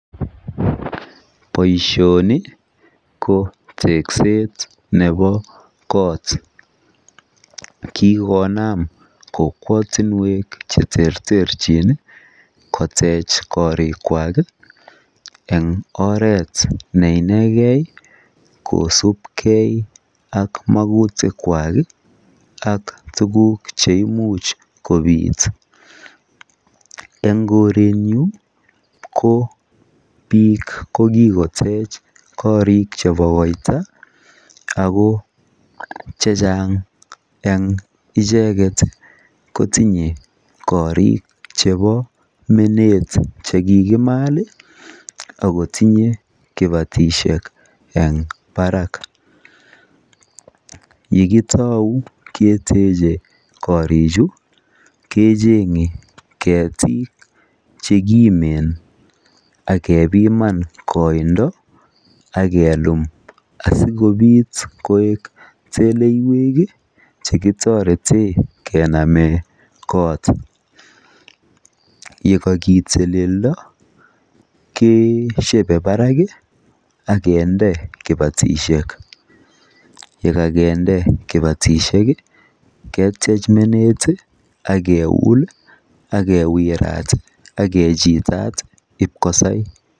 boishoni ko tekseet nebo koot, kigonaam kokwotinweek cheterterchin iih kotech koriik kwaak en oreet neinegee, kosib kee ak mogutik kwaak iih ak tuguk cheimuch kobiit, en korenyuun ko biik kokigotech korrik chebo koita ago chachang en icheget kotinye korrik chebo meneet chekigimaal iih ak kotiye kibatishek en baraak, ye kitou keteche koriik chu kechenge ketiik chekimeen ak kebiman koindo ak keluum asigobiit ko teleyeek iih chekitoreten kenamen koot, ye kokiteledo keshebe baraak iih ak kinde kibatishe ketyeech meneet iih ak keuul ak kewiraat ak kechilaat ib kosai.